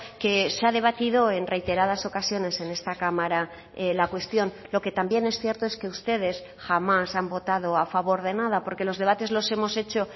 que se ha debatido en reiteradas ocasiones en esta cámara la cuestión lo que también es cierto es que ustedes jamás han votado a favor de nada porque los debates los hemos hecho